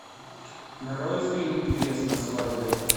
нарой фильм певец на свадьбе